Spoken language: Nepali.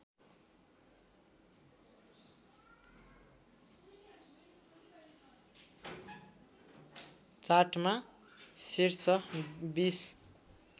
चार्टमा शीर्ष २०